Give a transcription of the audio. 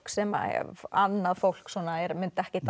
sem annað fólk mundi ekkert